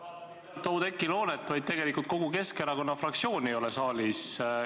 Ma vaatasin, et mitte ainult Oudekki Loonet, vaid tegelikult kogu Keskerakonna fraktsiooni ei ole saalis.